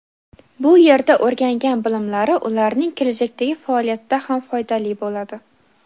bu yerda o‘rgangan bilimlari ularning kelajakdagi faoliyatida ham foydali bo‘ladi.